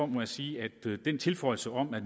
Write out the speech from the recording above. må sige at den tilføjelse om at